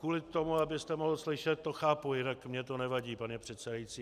Kvůli tomu, abyste mohl slyšet, to chápu, jinak mně to nevadí, pane předsedající.